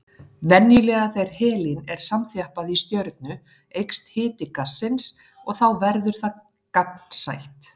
Venjulega þegar helín er samþjappað í stjörnu eykst hiti gassins og þá verður það gagnsætt.